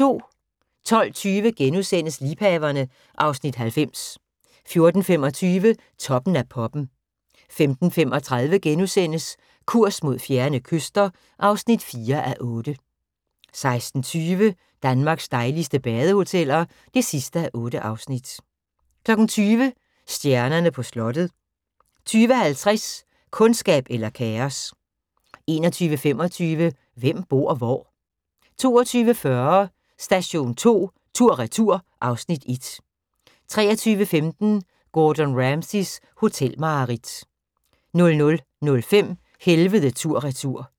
12:20: Liebhaverne (Afs. 90)* 14:25: Toppen af poppen 15:35: Kurs mod fjerne kyster (4:8)* 16:20: Danmarks dejligste badehoteller (8:8) 20:00: Stjernerne på slottet 20:50: Kundskab eller kaos 21:25: Hvem bor hvor? 22:40: Station 2 tur/retur (Afs. 1) 23:15: Gordon Ramsays hotelmareridt 00:05: Helvede tur/retur